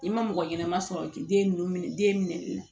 I ma mɔgɔ ɲɛnama sɔrɔ k'i den ninnu minɛ den minɛ i la